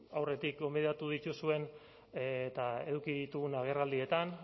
aurretik gonbidatu dituzuen eta eduki ditugun agerraldietan